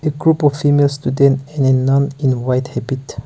a group of females written in a nun in white epict.